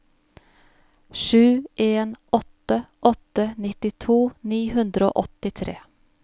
sju en åtte åtte nittito ni hundre og åttitre